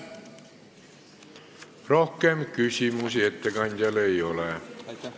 Rohkem küsimusi ettekandjale ei ole.